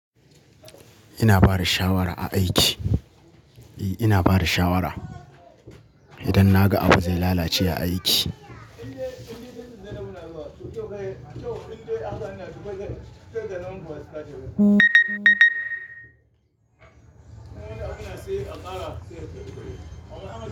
Ina bada shawara a aiki. E, ina bada shawara idan na ga abu zai lalace a aiki.